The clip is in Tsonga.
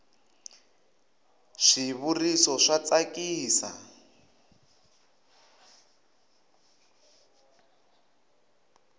swi vuriso swa tsakisa